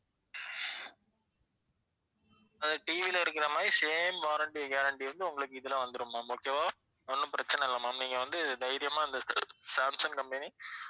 அது TV ல இருக்கற மாதிரி same warranty guarantee வந்து உங்களுக்கு இதுல வந்துடும் ma'am okay வா ஒண்ணும் பிரச்சினை இல்ல ma'am நீங்க வந்து தைரியமா இந்த சாம்சங் company